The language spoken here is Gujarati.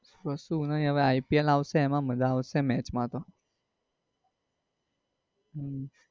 કશું નઈ હવે ipl આવશે એમાં મજા આવશે મેચ માં તો.